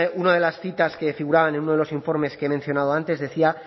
una de las citas que figuraban en uno de los informes que he mencionado antes decía